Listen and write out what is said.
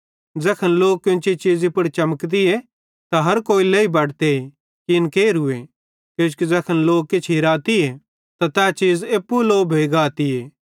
ज़ैखन लो कोन्ची चीज़ी पुड़ चमकती त हर कोई लेई बटते कि इन केरू किजोकि ज़ैखन लो किछ हिराती त तै चीज़ एप्पू लो भोइ गातीए